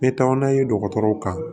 N bɛ taa n'a ye dɔgɔtɔrɔw kan